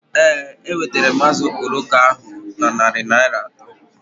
Ee, enwetara m azụ okporoko ahu ego na narị Naịra atọ